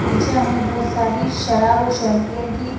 पीछे हमें बहुत सारी शराब और सैम्पियन की--